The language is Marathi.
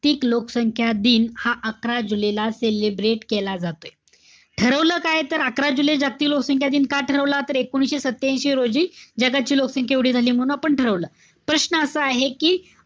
तिक लोकसंख्या दिन हा अकरा जुलै ला celebrate केला जातोय. ठरवलं काय? तर अकरा जुलै जागतिक लोकसंख्या दिन का ठरवला तर एकोणीशे सत्यांशी रोजी जगाची लोकसंख्या एवढी झालीय म्हणून आपण ठरवलं. प्रश्न असा आहे कि,